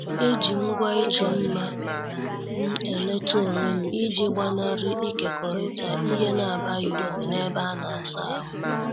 Eji ngwa ịchọ mma m eleta onwem iji gbanari ikekorita ihe n' abaghị uru na- ebe ana- asa ahụ.